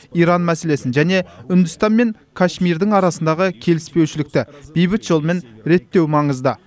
иран мәселесін және үндістан мен кашмирдің арасындағы келіспеушілікті бейбіт жолмен реттеу маңызды